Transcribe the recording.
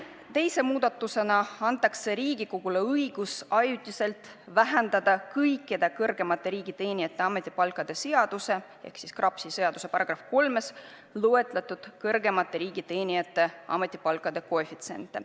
Teise muudatusena antaks Riigikogule õigus ajutiselt vähendada kõikide kõrgemate riigiteenijate ametipalkade seaduse ehk KRAPS-i §-s 3 loetletud kõrgemate riigiteenijate ametipalkade koefitsiente.